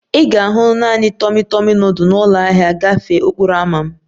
Ị ga-ahụ naanị tọmi tọmi nudul na ụlọ ahịa gafee okporo ámá m